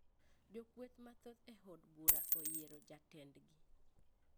Jokweth mathoth e od bura oyiero jatendgi